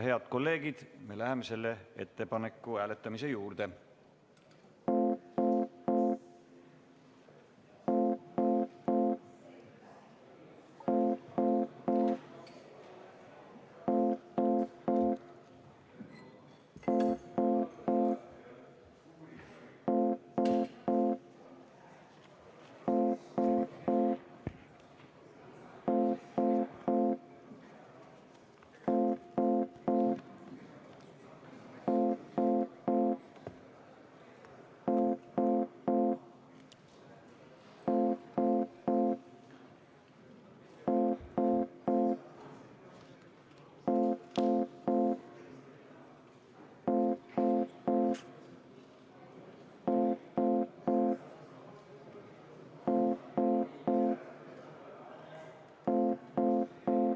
Head kolleegid, me läheme selle ettepaneku hääletamise juurde.